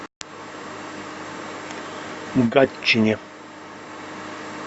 гатчине